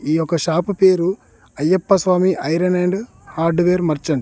ఈ యొక్క షాపు పేరు Ayyappa Swami iron and hardware merchant .